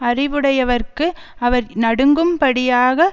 அறிவுடையவர்க்கு அவர் நடுங்கும் படியாக